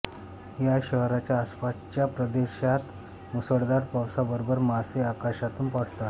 या शहराच्या आसपासच्या प्रदेशात मुसळधार पावसाबरोबर मासे आकाशातून पडतात